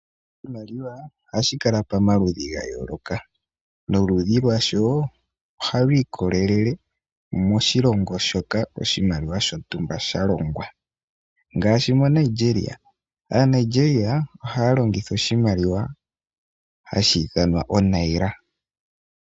Oshimaliwa oha shi kaka pamaludhi ga yooloka, noludhi lwasho oha lu ikolelele koshilongo moka oshimaliwa shontumba sha longwa, ngaashi moNigeria. AaNigeria ohaa longitha oshimaliwa ha shi ithanwa o Nira